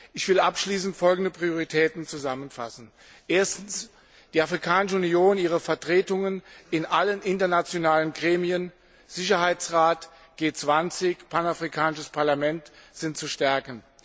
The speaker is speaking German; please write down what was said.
Ich will abschließend folgende Prioritäten zusammenfassen Erstens, die Afrikanische Union und ihre Vertretungen in allen internationalen Gremien Sicherheitsrat, G20, panafrikanisches Parlament sind zu stärken.